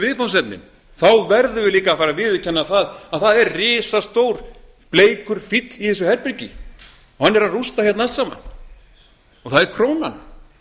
viðfangsefnin þá verðum við líka að fara að viðurkenna það að það er risastór bleikur fíll í þessu herbergi og hann er að rústa hérna allt sama og það er krónan